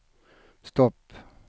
stopp